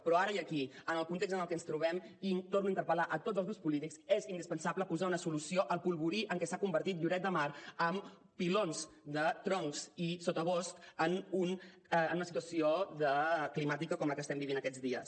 però ara i aquí en el context en el que ens trobem i torno a interpel·lar a tots els grups polítics és indispensable posar una solució al polvorí en què s’ha convertit lloret de mar amb pilons de troncs i sotabosc en una situació climàtica com la que estem vivint aquests dies